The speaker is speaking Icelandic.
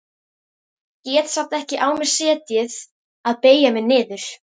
Get samt ekki á mér setið að beygja mig niður.